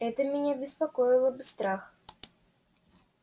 это меня беспокоило бы страх